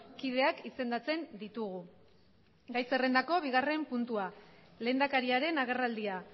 kideak izendatzen ditugu gai zerrendako bigarren puntua lehendakariaren agerraldia